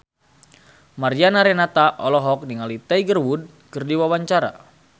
Mariana Renata olohok ningali Tiger Wood keur diwawancara